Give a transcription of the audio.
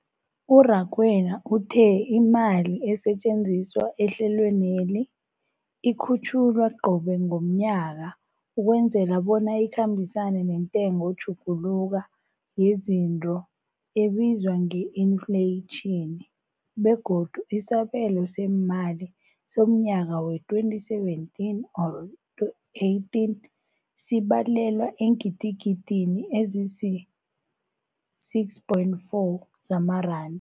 U-Rakwena uthe imali esetjenziswa ehlelweneli ikhutjhulwa qobe ngomnyaka ukwenzela bona ikhambisane nentengotjhuguluko yezinto ebizwa nge-infleyitjhini, begodu isabelo seemali somnyaka we-2017 or 18 sibalelwa eengidigidini ezisi-6.4 zamaranda.